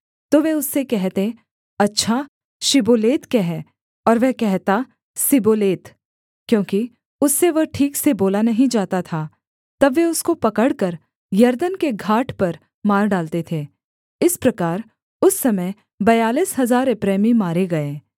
तो वे उससे कहते अच्छा शिब्बोलेत कह और वह कहता सिब्बोलेत क्योंकि उससे वह ठीक से बोला नहीं जाता था तब वे उसको पकड़कर यरदन के घाट पर मार डालते थे इस प्रकार उस समय बयालीस हजार एप्रैमी मारे गए